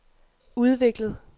udviklet